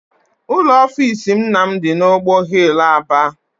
Ụlọ offisi nna m dị n'ọgbọ hill, Aba.